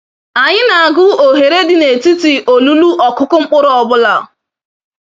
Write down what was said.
Anyi nagu ohere dị netiti olulu ọkụkụ mkpụrụ ọbụla.